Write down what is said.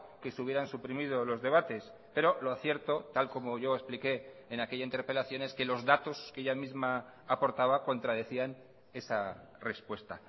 que se hubieran suprimido los debates pero lo cierto tal como yo expliqué en aquella interpelación es que los datos que ella misma aportaba contradecían esa respuesta